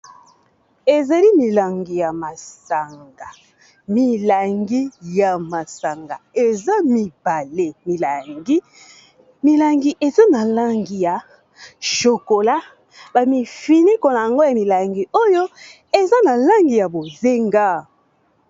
Ezali milangi ya masanga. Milangi ya masanga eza mibale milangi, milangi eza na langi ya chokola ba mifiniku na yango ya milangi oyo eza na langi ya bozenga.